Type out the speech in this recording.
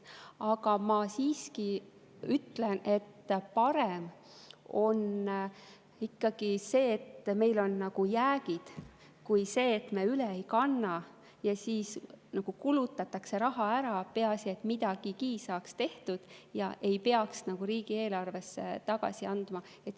Aga ma siiski ütlen, et parem on ikkagi, et meil on jäägid, kui see, et me üle ei kanna ja siis kulutatakse raha ära, peaasi, et midagigi saaks tehtud ja ei peaks raha riigieelarvesse tagasi andma.